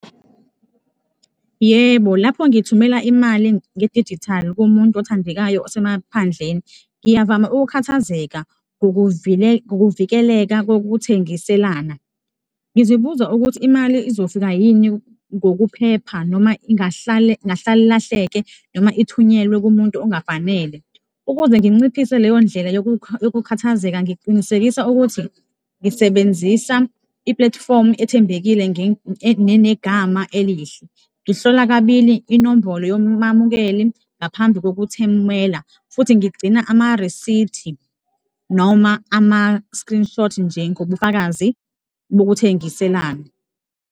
Yebo, lapho ngithumela imali ngedijithali kumuntu othandekayo osemaphandleni, ngiyavama ukukhathazeka ngokuvikeleka kokuthengiselana, ngizibuza ukuthi imali izofika yini ngokuphepha noma ingahlale ilahleke noma ithunyelwe kumuntu ongafanele. Ukuze nginciphise leyo ndlela yokukhathazeka, ngiqinisekisa ukuthi ngisebenzisa i-platform ethembekile nginegama elihle, ngihlola kabili inombolo yomamukeli ngaphambi kokuthumela futhi ngigcina amarisithi noma ama-screenshot-i njengobufakazi bokuthengiselana.